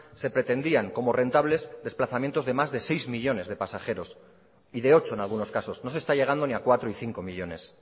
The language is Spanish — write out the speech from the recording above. se pretendían como rentables desplazamientos de más de seis millónes de pasajeros y de ocho en algunos casos no se está llegando ni a cuatro y cinco millónes